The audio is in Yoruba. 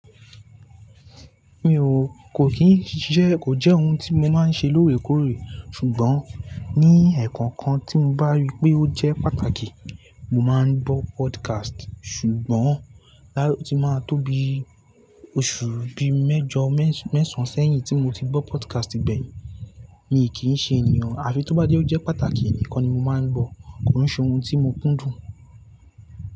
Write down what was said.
Mi ò, kò kín ṣiṣẹ́, kò jẹ́ ohun tí mo máa ń ṣe lóòrèkóòrè, ṣùgbọ́n ní ẹ̀ẹ̀kọ̀ọ̀kan tí mo bá rí pé ó jẹ́ pàtàkì, mo máa ń gbọ́ podcast. Ṣùgbọ́n, áti máa tó bíi oṣù bíi mẹ́jọ, mẹ́s-mẹ̀sán sẹ́yìn tí mo ti gbọ́ podcast gbẹ̀yìn, mi kì í ṣe ènìyàn, à fi tó bá jẹ́ ó jẹ́ pàtàkì nìkan ni mo máa ń gbọ́. Kò ún ṣe ohun tí mo kúndùn.